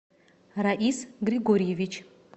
раис григорьевич